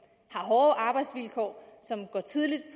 har hårde arbejdsvilkår og som går tidligt